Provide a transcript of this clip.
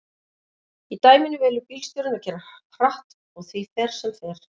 Í dæminu velur bílstjórinn að keyra hratt og því fer sem fer.